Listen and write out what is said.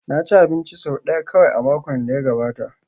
Na ci abinci sau ɗaya kawai a makon da ya gabata